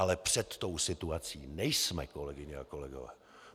Ale před tou situaci nejsme, kolegyně a kolegové.